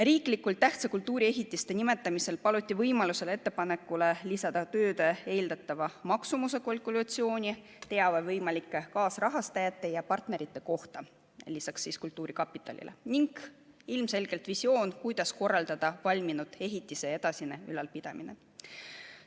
Riiklikult tähtsate kultuuriehitiste nimetamisel paluti võimaluse korral ettepanekule lisada tööde eeldatava maksumuse kalkulatsioon, teave võimalike kaasrahastajate ja partnerite kohta lisaks kultuurkapitalile ning ilmselgelt visioon, kuidas korraldada valminud ehitise edasine ülalpidamine.